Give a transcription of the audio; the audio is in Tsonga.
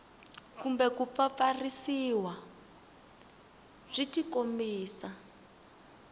kumbe ku pfapfarhutiwa byi tikombisa